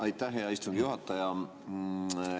Aitäh, hea istungi juhataja!